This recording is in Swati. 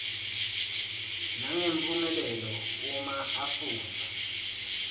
nangemphumelelo uma afundza